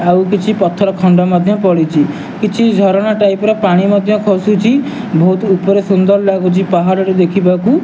ଆଉ କିଛି ପଥରଖଣ୍ଡ ମଧ୍ୟ ପଡିଚି କିଛି ଝରଣା ଟାଇପ୍ ର ପାଣି ମଧ୍ୟ ଖସୁଚି ବୋହୁତ୍ ଉପରେ ସୁନ୍ଦର୍ ଲାଗୁଚି ପାହାଡଟି ଦେଖିବାକୁ।